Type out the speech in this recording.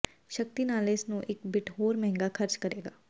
ਸ਼ਕਤੀ ਨਾਲ ਇਸ ਨੂੰ ਇੱਕ ਬਿੱਟ ਹੋਰ ਮਹਿੰਗਾ ਖ਼ਰਚ ਕਰੇਗਾ